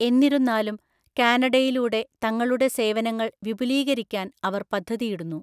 എന്നിരുന്നാലും കാനഡയിലൂടെ തങ്ങളുടെ സേവനങ്ങൾ വിപുലീകരിക്കാൻ അവർ പദ്ധതിയിടുന്നു.